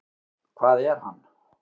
Hvað er hann?